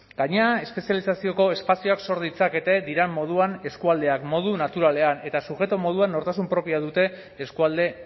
gainera espezializazioko espazioak sor ditzakete diren moduan eskualdeak modu naturalean eta sujeto moduan nortasun propioa dute eskualde